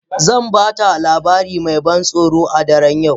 Zan baka labari mai ban tsoro a daren yau.